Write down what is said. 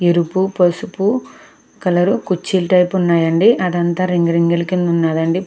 ఎరుపుపసుపు colour కుర్చీలు కింద ఉన్నాయండి .అదంతా రింగ్ రింగల కింద ఉందండి.